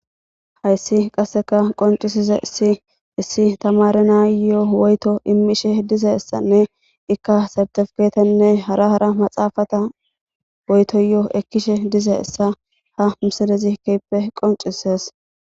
hayssi qasseka qoncisize issi issi tamare naayyoo woyto immishe dize essanne ikka sartefketenne hara hara maxaafata woytoyyoo ekkishe dize essa ha misilezikeppe qoncises